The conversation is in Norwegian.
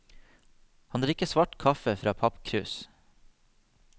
Han drikker svart kaffe fra pappkrus.